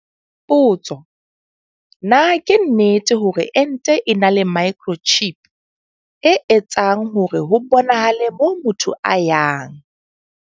Potso. Na ke nnete hore ente e na le microchip, e etsang hore ho bonahale moo motho a yang?